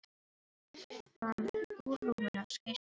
Hún laumaðist fram úr rúminu og skaust yfir gólfið.